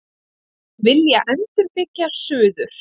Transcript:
Vilja endurbyggja suður